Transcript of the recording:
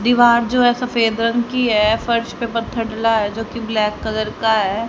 दीवार जो है सफेद रंग की है फर्श पे पत्थर डला है जो कि ब्लैक कलर का है।